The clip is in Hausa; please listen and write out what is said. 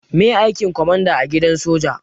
Maye aikin kwamanda a gidan soja?